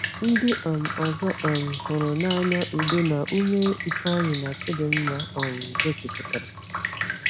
Ndị um ọzọ um hụrụ n’anya udo na ume Ifeanyi na Chidinma um gosipụtara.